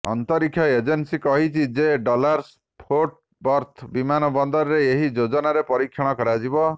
ଅନ୍ତରୀକ୍ଷ ଏଜେନ୍ସି କହିଛି ଯେ ଡାଲାସ ଫୋର୍ଟ ବର୍ଥ ବିମାନବନ୍ଦରରେ ଏହି ଯୋଜନାର ପରୀକ୍ଷଣ କରାଯିବ